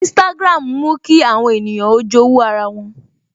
Instagram ń mú kí àwọn ènìyàn ó jowu ara wọn